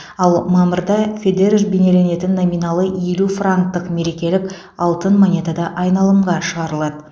ал мамырда федерер бейнеленетін номиналы елу франктық мерекелік алтын монета да айналымға шығарылады